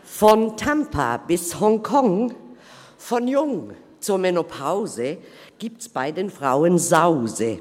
Von Tampa bis Honkong, von jung zur Menopause, gibt’s bei den Frauen Sause.